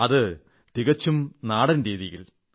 അതും തീർത്തും നാടൻ രീതിയിലൂടെ